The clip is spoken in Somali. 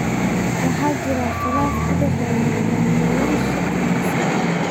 Waxaa jira khilaaf u dhexeeya hoggaamiyeyaasha kaniisadaha.